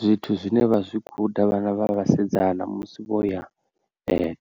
Zwithu zwine vha zwi guda vhana vha vhasidzana musi vho ya